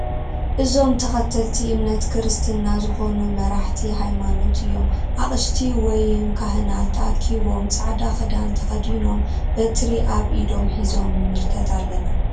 እዞም ተከተልቲ እምነት ክርስትና ዝኮኑ መራሕቲ ሃይማኖት እዮም ኣቅሽቲ ወይም ካህናት ተኣኪቦም ጻዕዳ ክዳን ተከዲኖም በትሪ ኣብ ኢዶም ሒዞም ንምልከት ኣለና።